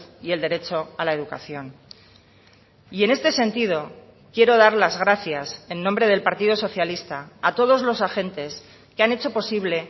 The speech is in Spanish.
y el derecho a la educación y en este sentido quiero dar las gracias en nombre del partido socialista a todos los agentes que han hecho posible